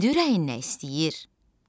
İndi ürəyin nə istəyir?